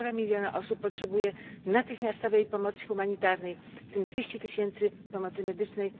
Półtora miliona osób potrzebuje natychmiastowej pomocy humanitarnej, w tym 200 tysięcy pomocy medycznej.